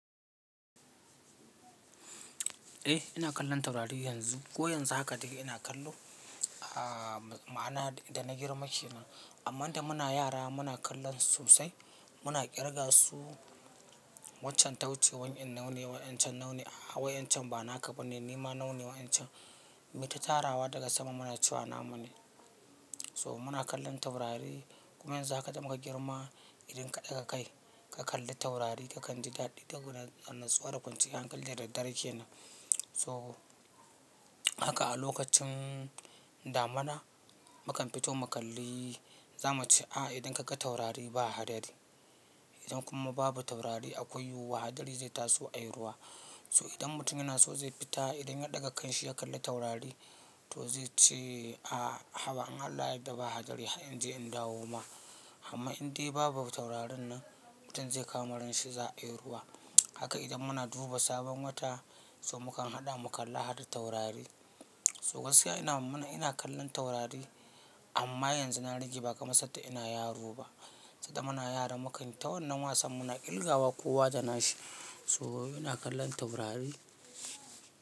Eh, ina kallon taurari yanzu. Ko yanzu haka daga ina kallo, a ma'ana da na girma ke nan. Amma idan muna yara muna kallon su sai muna kirga su. Waccan tauce wani yan nau'i ne, wa'incan nau'i ne, hawa yan can bana ka bane, ni ma nau'i ne wa'incan. Muyi ta tarawa daga sama muna cewa nama ne. So muna kallon taurari, kuma yanzu haka da muka girma, idan ka ɗaga kai ka kalli taurari ka kanji daɗi saboda natsuwa da kwanciyar hankali dadad-daren ke nan. So haka a lokacin damuna, mukan fito mu kalli, za muce a idan ka ga taurari ba hadari. Idan kuma babu taurari akwai yiwuwa hadari zai taso a yi ruwa. So idan mutum yana so zai fita, idan ya ɗaga kanshi ya kalli taurari to zai ce a haba in allah ya yadda ba hadari har in je in dawo ma. Amma in dai babu taurarin nan, mutum zai kama ranshi za a yi ruwa. Haka idan muna duba sabon wata, so mukan haɗa mu kalla hada taurari. So gaskiya ina muna ina kallon taurari, amma yanzu na rage ba kamar sanda ina yaro ba. Sanda muna yara makan ta wannan wasan muna ƙirgawa kowa da nashi. So ina kallon taurari.